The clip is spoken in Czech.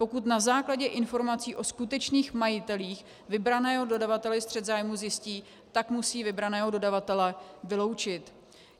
Pokud na základě informací o skutečných majitelích vybraného dodavatel střet zájmů zjistí, tak musí vybraného dodavatele vyloučit.